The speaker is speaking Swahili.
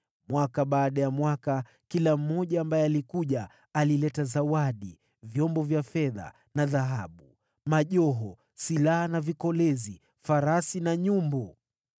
Mwaka baada ya mwaka, kila mmoja ambaye alikuja, alileta zawadi, vyombo vya fedha na dhahabu, majoho, silaha na vikolezi, farasi na nyumbu.